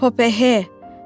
Hop hop he.